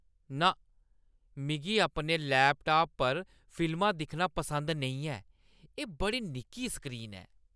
ना। मिगी अपने लैपटाप पर फिल्मां दिक्खना पसंद नेईं ऐ। एह् बड़ी निक्की स्क्रीन ऐ।